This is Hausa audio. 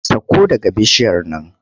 Sakko daga bishiyar nan!